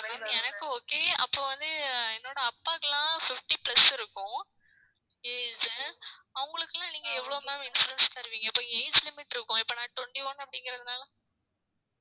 எனக்கு okay அப்ப வந்து என்னோட அப்பாக்கெல்லாம் fifty plus இருக்கும் age அவங்களுக்கெல்லாம் நீங்க எவ்வளவு ma'am insurance தருவீங்க இப்ப age limit இருக்கும் இப்ப நான் twenty one அப்படிங்கிறதுனால